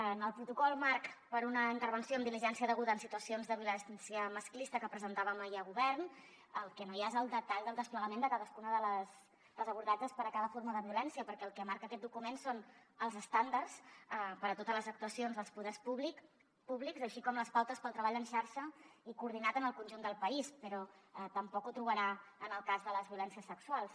en el protocol marc per una intervenció amb diligència deguda en situacions de violència masclista que presentàvem ahir a govern el que no hi ha és el detall del desplegament de cadascun dels abordatges per a cada forma de violència perquè el que marca aquest document són els estàndards per a totes les actuacions dels poders públics així com les pautes per al treball en xarxa i coordinat en el conjunt del país però tampoc ho trobarà en el cas de les violències sexuals